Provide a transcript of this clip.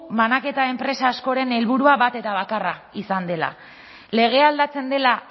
banaketa enpresa askoren helburua bat eta bakarra izan dela legea aldatzen dela